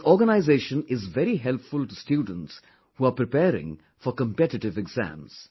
This organisation is very helpful to students who are preparing for competitive exams